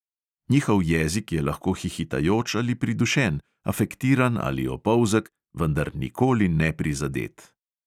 Njihov jezik je lahko hihitajoč ali pridušen, afektiran ali opolzek, vendar nikoli neprizadet.